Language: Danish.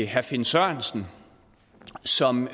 herre finn sørensen som